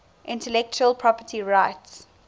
intellectual property rights